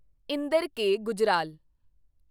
Inder K. Gujral